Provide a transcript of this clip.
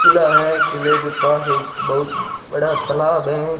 किला है किले के पास एक बहुत बड़ा तालाब है।